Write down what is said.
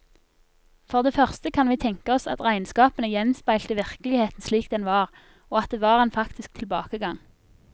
For det første kan vi tenke oss at regnskapene gjenspeilte virkeligheten slik den var, og at det var en faktisk tilbakegang.